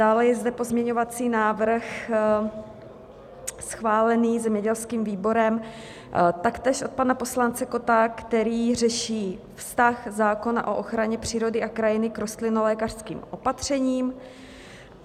Dále je zde pozměňovací návrh schválený zemědělským výborem, taktéž od pana poslance Kotta, který řeší vztah zákona o ochraně přírody a krajiny k rostlinolékařským opatřením.